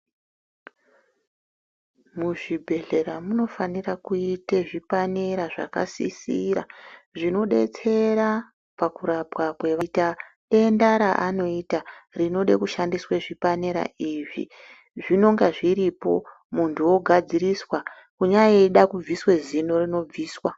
Muzvibhedhlera munofanira kuita zvipanera zvinosisira zvinodetsera pakurapwa paita denda raanoita rinoda kushandiswa zvipanera izvi zvinonga zviripo muntu ogadziriswa kunyaida kubviswa zino muntu unobviswa.